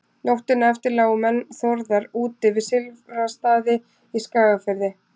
nóttina eftir lágu menn þórðar úti við silfrastaði í skagafirði